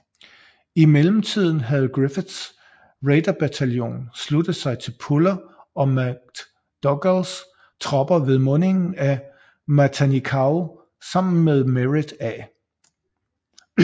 I mellemtiden havde Griffiths raiderbataljon sluttet sig til Puller og McDougals tropper ved mundingen af Matanikau sammen med Merritt A